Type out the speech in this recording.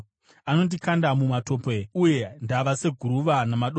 Anondikanda mumatope, uye ndava seguruva namadota.